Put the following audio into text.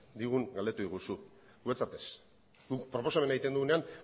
digun galdetu diguzu guretzat ez guk proposamena egiten dugunean